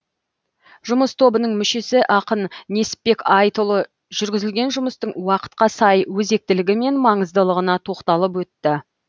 жұмыс тобының мүшесі ақын несіпбек айтұлы жүргізілген жұмыстың уақытқа сай өзектілігі мен маңыздылығына тоқталып өтті